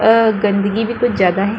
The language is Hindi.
अ गंदिगी भी कुछ ज्यादा है।